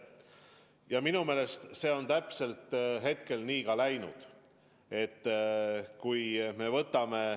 Ja minu meelest see on täpselt nii ka läinud.